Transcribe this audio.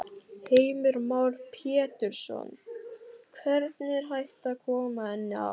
Heimir Már Pétursson: Hvernig er hægt að koma henni á?